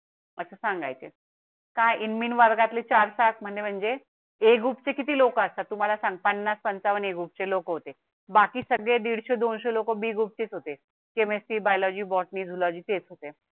असं सांगायचं काय? इन मिन वर्गातील चार तास म्हणजे ए ग्रुप चे किती लोक असतात तुम्हाला सांगताना पंचावन्न ए ग्रुप चे लोक होते. बाकी सगळे दीडशे ते दोनशे लोक ग्रुप चे होते. , chemistry biology botany zoology तेच होते